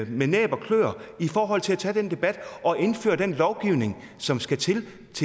med næb og kløer i forhold til at tage den debat og indføre den lovgivning som skal til i